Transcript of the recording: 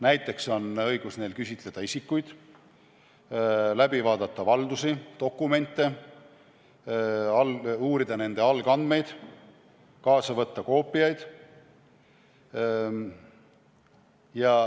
Näiteks on neil õigus küsitleda isikuid, vaadata läbi valdusi, dokumente, uurida nende algandmeid, kaasa võtta koopiaid.